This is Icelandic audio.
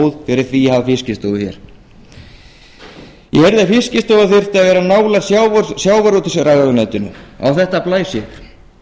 fyrir því að hafa fiskistofu hér ég heyrði að fiskistofa þyrfti að vera nálægt sjávarútvegsráðuneytinu á þetta blæs ég